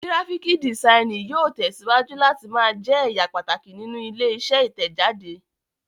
Gíráfíkì dìsainì yóò tẹ̀síwájú láti máa jẹ ẹ̀ya pàtàkì nínú ilé-iṣẹ́ Ìtẹ̀jáde.